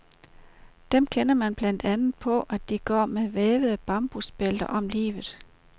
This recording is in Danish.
Dem kender man blandt andet på, at de går med vævede bambusbælter om livet.